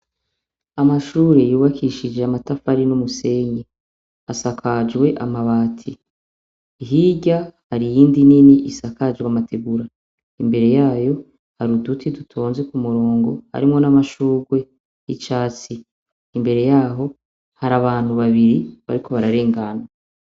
Amashure yubakishije amatafari n'umusenyi asakajwe amabati hirya hari iyindi nini isakajwe amategura imbere yayo hari uduti dutonze ku murongo arimwo n'amashurwe 'icatsi imbere yaho hari abantu babiri bariko bararengana.